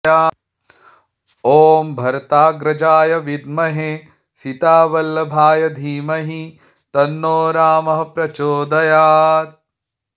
ॐ भरताग्रजाय विद्महे सीतावल्लभाय धीमहि तन्नो रामः प्रचोदयात्